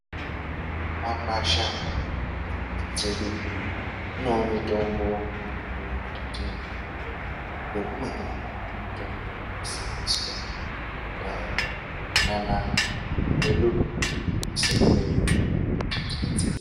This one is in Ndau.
Mumakwasha nemudzi mhatso dzedu munevo mitombo inogara tinayo. Yeimweni yako mitombo yaisenzeswa kudhaya nana mbuya adu nanasekuru edu kuti tibetsereke.